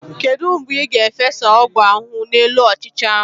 Kedu mgbe ị ga-efesa ọgwụ ahụhụ n'elu ọchịcha ahu?